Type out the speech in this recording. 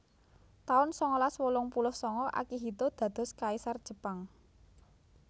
taun sangalas wolung puluh sanga Akihito dados Kaisar Jepang